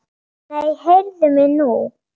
Nei, heyrðu mig nú!